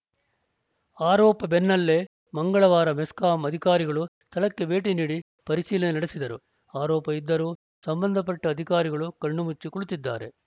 ಆರೋಪ ಬೆನ್ನಲ್ಲೇ ಮಂಗಳವಾರ ಮೆಸ್ಕಾಂ ಅಧಿಕಾರಿಗಳು ಸ್ಥಳಕ್ಕೆ ಭೇಟಿ ನೀಡಿ ಪರಿಶೀಲನೆ ನಡೆಸಿದರು ಆರೋಪ ಇದ್ದರೂ ಸಂಬಂಧಪಟ್ಟಅಧಿಕಾರಿಗಳು ಕಣ್ಣುಮುಚ್ಚಿ ಕುಳಿತಿದ್ದಾರೆ